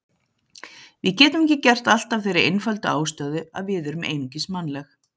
Við getum ekki gert allt af þeirri einföldu ástæðu að við erum einungis mannleg.